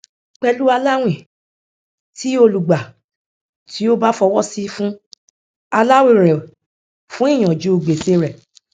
pẹlú aláwìn tí olùgbà tí ó bá fọwọsi fún aláwìn rẹ fún ìyànjú gbèsè rẹ